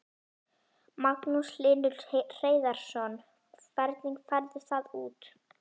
Magnús Hlynur Hreiðarsson: Hvernig færðu það út?